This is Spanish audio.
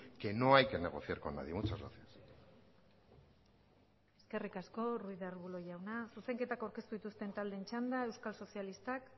que no hay que negociar con nadie muchas gracias eskerrik asko ruiz de arbulo jauna zuzenketak aurkeztu dituzten taldeen txanda euskal sozialistak